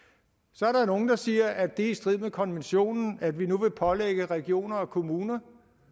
så er der nogle der siger at det er i strid med konventionen at vi nu vil pålægge regioner og kommuner